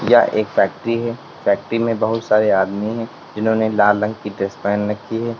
यह एक फैक्ट्री है फैक्ट्री में बहुत सारे आदमी हैं जिन्होंने लाल रंग की ड्रेस पहन रखी है।